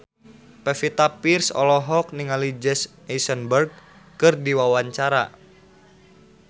Pevita Pearce olohok ningali Jesse Eisenberg keur diwawancara